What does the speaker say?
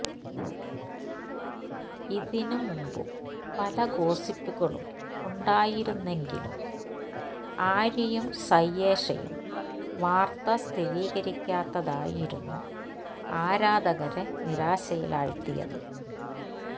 ഇതിന് മുമ്പും പല ഗോസിപ്പുകളും ഉണ്ടായിരുന്നെങ്കിലും ആര്യയും സയ്യേഷയും വാർത്ത സ്ഥിരീകരിക്കാത്തതായിരുന്നു ആരാധകരെ നിരാശയിലാഴ്ത്തിയത്